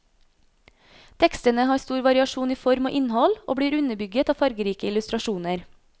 Tekstene har stor variasjon i form og innhold, og blir underbygget av fargerike illustrasjoner.